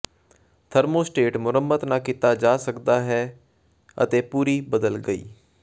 thermostat ਮੁਰੰਮਤ ਨਾ ਕੀਤਾ ਜਾ ਸਕਦਾ ਹੈ ਅਤੇ ਪੂਰੀ ਬਦਲ ਗਈ